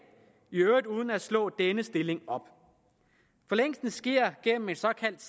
i øvrigt uden at slå denne stilling op forlængelsen sker gennem en såkaldt